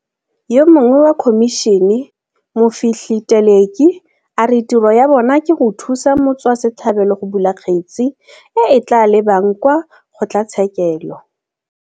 Yo mongwe wa khomišene, Mofihli Teleki, a re tiro ya bona ke go thusa motswase tlhabelo go bula kgetse e e tla lebang kwa kgotlatshekelo.